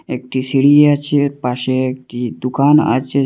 একটি সিঁড়ি আছে পাশে একটি দোকান আছে।